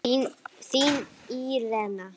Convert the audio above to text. Þín Írena.